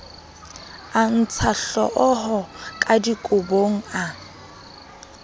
a ntshahlooho ka dikobong a